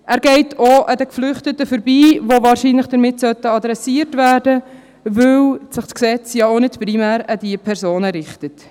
Er geht auch an den Geflüchteten vorbei, die wahrscheinlich damit adressiert sein sollten, weil sich das Gesetz nicht primär an diese Personen richtet.